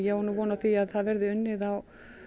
á von á því að það verði unnið á